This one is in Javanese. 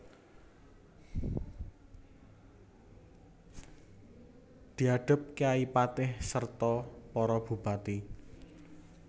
Diadhep kyai patih serta para bupati